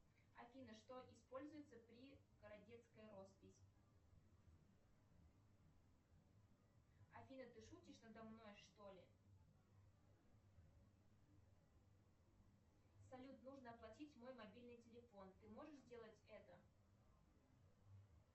афина что используется при городецкая роспись афина ты шутишь надо мной что ли салют нужно оплатить мой мобильный телефон ты можешь сделать это